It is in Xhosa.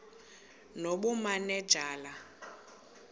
nobumanejala